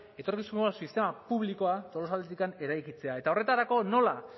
etorkizuneko sistema publikoa tolosaldeatik eraikitzea eta horretarako nola